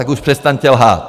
Tak už přestaňte lhát!